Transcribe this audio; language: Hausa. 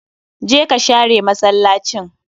Jeka share masallacin